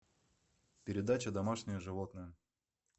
передача домашние животные